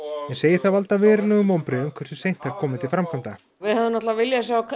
en segir það valda verulegum vonbrigðum hversu seint þær komi til framkvæmda við hefðum náttúrlega viljað sjá